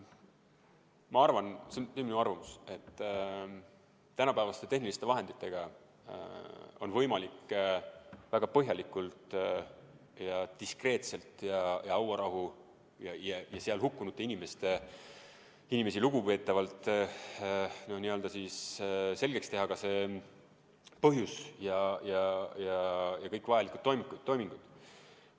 Ma arvan – see on vaid minu arvamus –, et tänapäevaste tehniliste vahenditega on võimalik väga põhjalikult ja diskreetselt, hauarahust ja seal hukkunud inimestest lugu pidavalt selgeks teha see põhjus, teha kõik vajalikud toimingud.